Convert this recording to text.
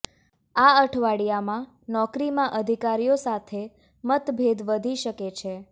આ અઠવાડિયામાં નોકરીમાં અધિકારીઓ સાથે મતભેદ વધી શકે છે